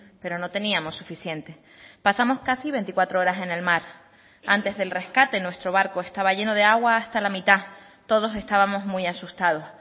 pero no teníamos suficiente pasamos casi veinticuatro horas en el mar antes del rescate nuestro barco estaba lleno de agua hasta la mitad todos estábamos muy asustados